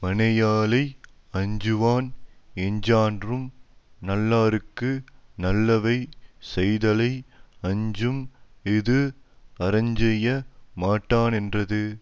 மனையாளை அஞ்சுவான் எஞ்ஞான்றும் நல்லார்க்கு நல்லவை செய்தலை அஞ்சும் இது அறஞ்செய்ய மாட்டானென்றது